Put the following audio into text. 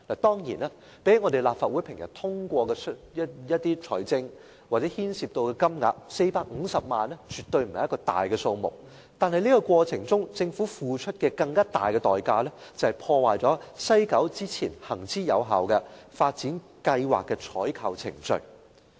當然，相比立法會平常通過的撥款申請涉及的金額 ，450 萬元絕對不是一個大數目，但在這個過程中，政府付出了一個更大的代價，便是破壞了西九發展計劃行之有效的採購程序。